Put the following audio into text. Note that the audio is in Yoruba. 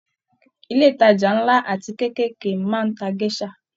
Ilé ìtajà nla àti keekeekee máa n tá gèsà.